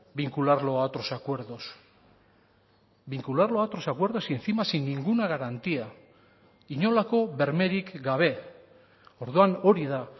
vincularlo a otros acuerdos vincularlo a otros acuerdos y encima sin ninguna garantía inolako bermerik gabe orduan hori da